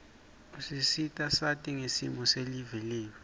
usita sati ngesimo silive letfu